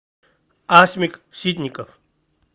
асмик ситников